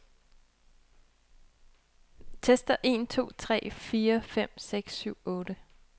Tester en to tre fire fem seks syv otte.